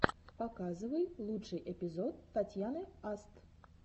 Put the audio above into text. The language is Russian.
показывай лучший эпизод татьяны аст